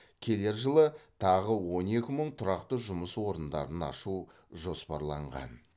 келер жылы тағы он екі мың тұрақты жұмыс орындарын ашу жоспарланған